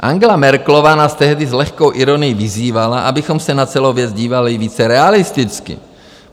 Angela Merkelová nás tehdy s lehkou ironií vyzývala, abychom se na celou věc dívali více realisticky.